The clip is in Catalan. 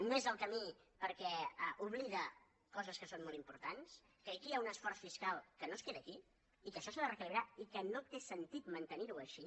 no és el camí perquè oblida coses que són molt importants que aquí hi ha un esforç fiscal que no es queda aquí i que això s’ha de reequilibrar i que no té sentit mantenir ho així